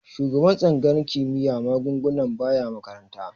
Shugaban tsangayar kimiyyar magunguna baya makaranta.